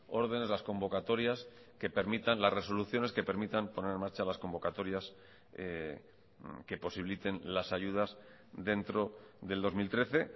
ordenes las convocatorias que permitan las resoluciones que permitan poner en marcha las convocatorias que posibiliten las ayudas dentro del dos mil trece